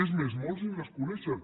és més molts ni les coneixen